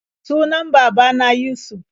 Sunan baba na Yusuf.